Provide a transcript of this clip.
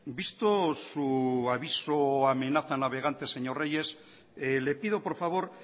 visto su aviso amenaza navegantes señor reyes le pido por favor